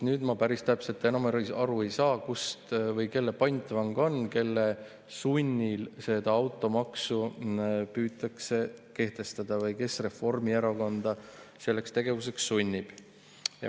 Aga ma päris täpselt aru ei saa, kelle pantvang nüüd on, kelle sunnil seda automaksu püütakse kehtestada või kes Reformierakonda selleks tegevuseks sunnib.